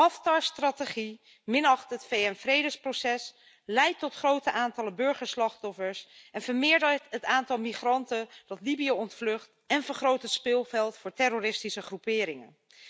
Haftars strategie minacht het VN-vredesproces, leidt tot grote aantallen burgerslachtoffers, vermeerdert het aantal migranten dat Libië ontvlucht en vergroot het speelveld voor terroristische groeperingen.